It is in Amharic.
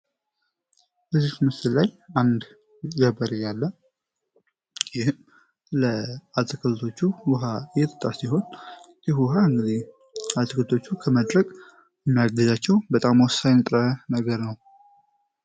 በዚህ ምስል ላይ አንድ ጀበሬ ያለ ይህም ለአትክልቶቹ ውሃ የህጥጣ ሲሆን ይሁ ውሃ እንጊዜ አትክልቶቹ ከመድረግ የሚያገዛቸው በጣም ወሳይንጥረ ነገር ነው።